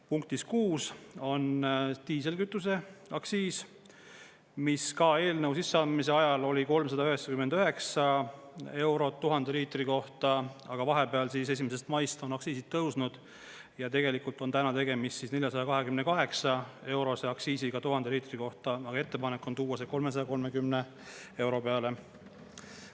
Punktis 6 on diiselkütuseaktsiis, mis ka eelnõu sisseandmise ajal oli 399 eurot 1000 liitri kohta, aga vahepeal 1. maist on aktsiisid tõusnud ja tegelikult on täna tegemist 428-eurose aktsiisiga 1000 liitri kohta, aga ettepanek on tuua see 330 euro peale.